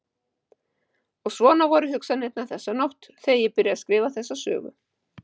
Og svona voru hugsanirnar þessa nótt þegar ég byrjaði að skrifa þessa sögu.